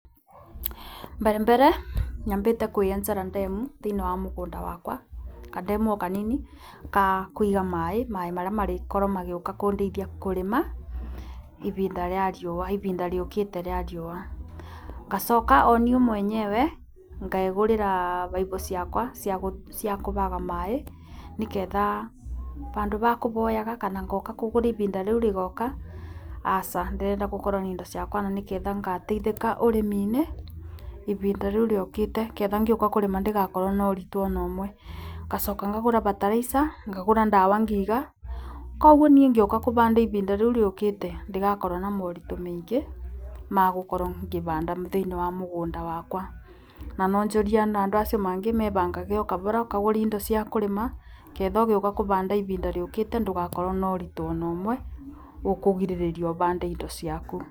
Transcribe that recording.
Mbere mbere nyambĩte kwĩyenjera ndemu thĩinĩ wa mugũnda wakwa kandemu o kanini ka kũiga maaĩ marĩa marĩkorwo magĩũka kũndeithia kũrĩma ibnda rĩa riũa ibinda rĩũkĩte ria riũa. Ngacoka o niĩ mwenyewe ngegũrĩra baibu ciakwa ciakũbaga maaĩ nĩ getha bandũ ba kũboyaga kana ngoka kũgura ibinda rĩu rĩgoka, aca ndĩrenda gũkorwo na indo ciakwa na nĩ getha ngateithĩka ũrĩmi-inĩ ibinda rĩu rĩũkĩte. Ngetha ngĩũka kũrĩma ndigakorwo na ũritũ ona ũmwe, ngacoka ngagũra bataraica ngagũra ndawa ngĩiga, koguo niĩ ngĩũka kũbanda ibinda rĩu rĩũkite ndigakorwo na moritũ maingĩ ma gũkorwo ngĩbanda thĩinĩ wa mũgũnda wakwa. Na no njũrie ona andũ macio mangĩ mebangage o kabora ũkagũra indo cia kũrĩma ketha ũgĩũka kũbanda ibinda rĩũkĩte ndũgakorwo na ũritũ ona ũmwe, ũkũrigĩrĩria ũbande indo ciaku.